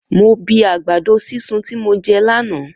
Mo bi àgbàdo sisun ti mo jẹ lànà.